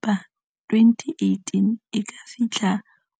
- 18 e ka fihla